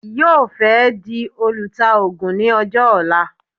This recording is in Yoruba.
Yóò fẹ́ di olùtaògùn ní ọjọ́ ọ̀la